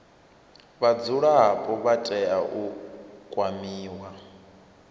vhadzulapo vha tea u kwamiwa